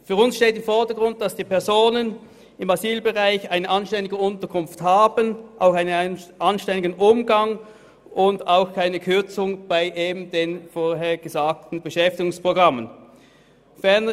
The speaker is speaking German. Für uns steht im Vordergrund, dass die Personen im Asylbereich eine anständige Unterkunft und einen korrekten Umgang haben und es auch keine Kürzung bei den vorher erwähnten Beschäftigungsprogrammen gibt.